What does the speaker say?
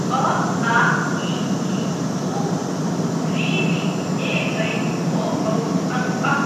अ आ इ ई उ ऊ ऋ ॠ ए ऐ ओ औ अं अः